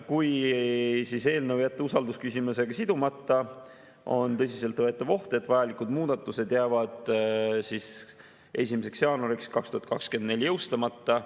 Kui eelnõu jätta usaldusküsimusega sidumata, on tõsiselt võetav oht, et vajalikud muudatused jäävad 1. jaanuaril 2024 jõustumata.